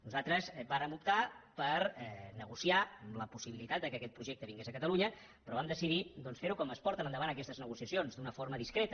nosaltres vàrem optar per negociar amb la possibilitat que aquest projecte vingués a catalunya però vam decidir doncs fer ho com es porten endavant aquestes negociacions d’una forma discreta